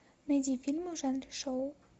найди фильмы в жанре шоу